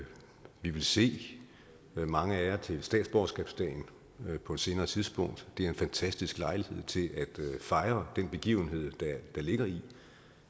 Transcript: se mange af jer til statsborgerskabsdagen på et senere tidspunkt det er en fantastisk lejlighed til at fejre den begivenhed der ligger i